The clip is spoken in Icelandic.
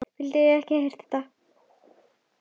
Vildi ekki heyra þetta!